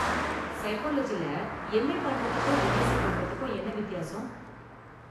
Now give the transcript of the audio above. சைக்காலஜில MA பண்றதுக்கும், MSc பண்றதுக்கும் என்ன வித்தியாசம்?